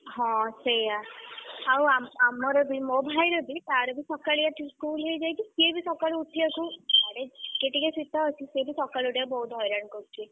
ହଁ ସେୟା ଆଉ ଆ ଆମର ବି ମୋ ଭାଇର ବି ତାର ବି ସକାଳିଆ school ହେଇଯାଇଛି ସିଏବି ସକାଳୁ ଉଠିବାକୁ ଆଡେ ଟିକେ ଟିକେ ଶୀତ ଅଛି ସେଏବି ସକାଳୁ ଉଠିବାକୁ ବହୁତ୍ ହଇରାଣ କରୁଛି।